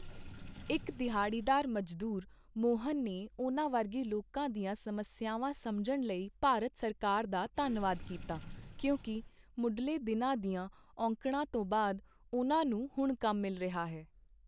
ਇੱਕ ਦਿਹਾੜੀਦਾਰ ਮਜ਼ਦੂਰ, ਮੋਹਨ ਨੇ ਉਨ੍ਹਾਂ ਵਰਗੇ ਲੋਕਾਂ ਦੀਆਂ ਸਮੱਸਿਆਵਾਂ ਸਮਝਣ ਲਈ ਭਾਰਤ ਸਰਕਾਰ ਦਾ ਧੰਨਵਾਦ ਕੀਤਾ ਕਿਉਂਕਿ ਮੁਢਲੇ ਦਿਨਾਂ ਦੀਆਂ ਔਕੜਾਂ ਤੋਂ ਬਾਅਦ ਉਨ੍ਹਾਂ ਨੂੰ ਹੁਣ ਕੰਮ ਮਿਲ ਰਿਹਾ ਹੈ।